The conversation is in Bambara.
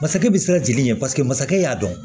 Masakɛ bi siran jeni ɲɛ paseke masakɛ y'a dɔn